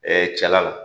cɛla